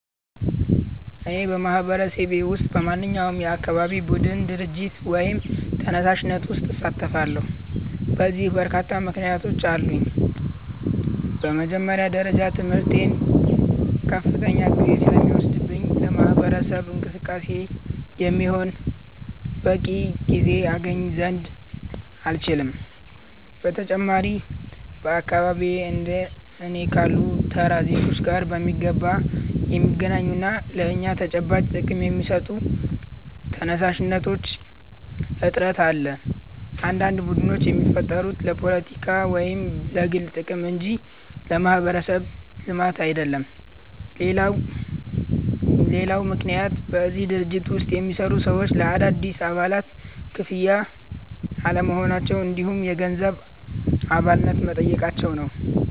እኔ በማህበረሰቤ ውስጥ በማንኛውም የአካባቢ ቡድን፣ ድርጅት ወይም ተነሳሽነት ውስጥ አልሳተፍም። ለዚህ በርካታ ምክንያቶች አሉኝ። በመጀመሪያ ደረጃ ትምህርቴ ከፍተኛ ጊዜ ስለሚወስድብኝ ለማህበረሰብ እንቅስቃሴ የሚሆን በቂ ጊዜ አገኝ ዘንድ አልችልም። በተጨማሪም በአካባቢዬ እንደ እኔ ካሉ ተራ ዜጎች ጋር በሚገባ የሚገናኙና ለእኛ ተጨባጭ ጥቅም የሚሰጡ ተነሳሽነቶች እጥረት አለ፤ አንዳንድ ቡድኖች የሚፈጠሩት ለፖለቲካ ወይም ለግል ጥቅም እንጂ ለማህበረሰብ ልማት አይደለም። ሌላው ምክንያት በእነዚህ ድርጅቶች ውስጥ የሚሰሩ ሰዎች ለአዳዲስ አባላት ክፍት አለመሆናቸው እንዲሁም የገንዘብ አባልነት መጠየቃቸው ነው።